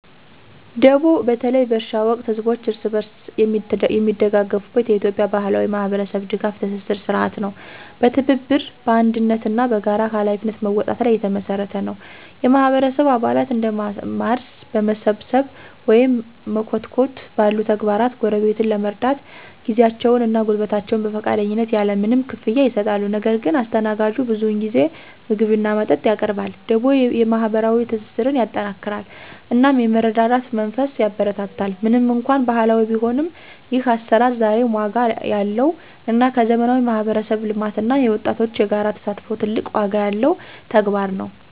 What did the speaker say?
ደቦ በተለይ በእርሻ ወቅት ህዝቦች እርስ በርስ የሚደጋገፉበት የኢትዮጵያ ባህላዊ የማህበረሰብ ድጋፍ ትስስር ሥርዓት ነው። በትብብር፣ በአንድነት እና በጋራ ኃላፊነት መወጣት ላይ የተመሰረተ ነው። የማህበረሰቡ አባላት እንደ ማረስ፣ መሰብሰብ ወይም መኮትኮት ባሉ ተግባራት ጎረቤትን ለመርዳት ጊዜያቸውን እና ጉልበታቸውን በፈቃደኝነት ያለ ምንም ክፍያ ይሰጣሉ። ነገር ግን አስተናጋጁ ብዙውን ጊዜ ምግብ እና መጠጥ ያቀርባል። ደቦ የማህበራዊ ትስስርን ያጠናክራል እናም የመረዳዳት መንፈስን ያበረታታል። ምንም እንኳን ባህላዊ ቢሆንም፣ ይህ አሰራር ዛሬም ዋጋ ያለው እና ከዘመናዊ የማህበረሰብ ልማት እና የወጣቶች የጋራ ተሳትፎ ጋራ ትልቅ ዋጋ ያለው ተግባር ነው።